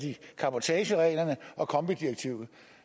carbotagereglerne og kombi direktivet